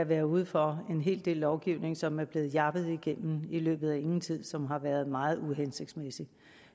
været ude for en hel del lovgivning som er blevet jappet igennem i løbet af ingen tid og som har været meget uhensigtsmæssig